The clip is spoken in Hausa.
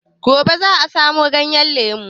Gobe za a samo ganyen lemu.